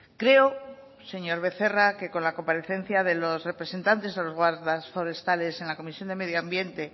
creo señor becerra que con la comparecencia de los representantes de los guardas forestales en la comisión de medio ambiente